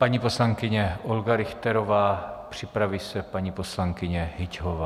Paní poslankyně Olga Richterová, připraví se paní poslankyně Hyťhová.